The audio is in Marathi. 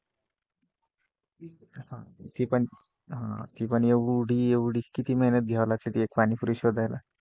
ते पण, आह ते पण एवढी एवढी किती मेहनत घ्या लागते पाणीपुरी शोधायला?